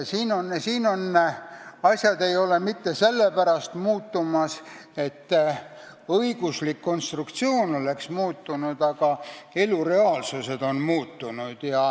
Asjad ei ole muutumas mitte sellepärast, et õiguslik konstruktsioon oleks muutunud, vaid elu reaalsus on muutunud.